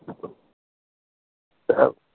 আহ